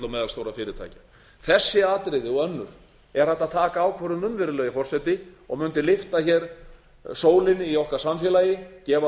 meðalstórra fyrirtækja þessi atriði og önnur er hægt að taka ákvörðun um virðulegi forseti og mundi lyfta sólinni í okkar samfélagi gefa